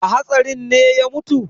A hatsarin ne ya mutu?